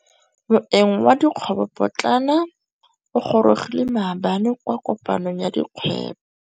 Moêng wa dikgwêbô pôtlana o gorogile maabane kwa kopanong ya dikgwêbô.